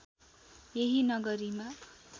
यही नगरीमा